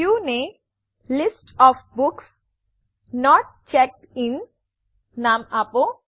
વ્યુંને View list of books not checked in નામ આપો